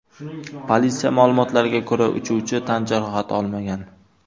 Politsiya ma’lumotlariga ko‘ra, uchuvchi tan jarohati olmagan.